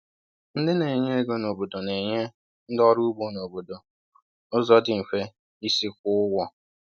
Ndị na-enye ego n’obodo na-enye ndị ọrụ ugbo n’obodo ụzọ dị mfe isi kwụọ ụgwọ.